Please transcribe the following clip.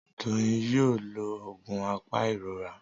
Doyin ló yíò oògùn apairora.